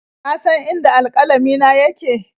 Ka san inda alƙalamina yake?